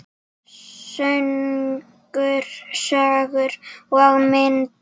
Söngur, sögur og myndir.